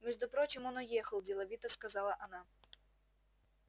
между прочим он уехал деловито сказала она